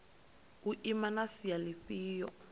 u ima na sia lifhio